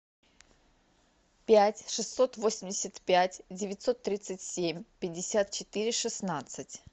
пять шестьсот восемьдесят пять девятьсот тридцать семь пятьдесят четыре шестнадцать